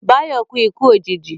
Báyọ̀ kú ikú òjìji